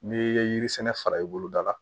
N'i ye yiri sɛnɛ i bolo da la